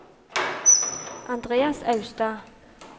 Andreas Austad